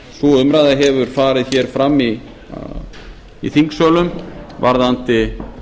sú umræða hefur farið hér fram í þingsölum varðandi